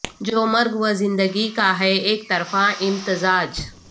جو مرگ و زندگی کا ہے اک طرفہ امتزاج